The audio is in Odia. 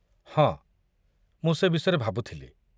ହଁ, ମୁଁ ସେ ବିଷୟରେ ଭାବୁଥିଲି।